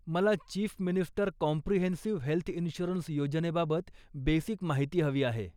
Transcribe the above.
मला chief minister comprehensive health insurance योजनेबाबत basic माहिती हवी आहे.